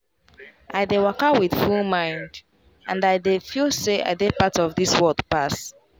i dey waka with full mind — and i dey feel say i dey part of this world pass.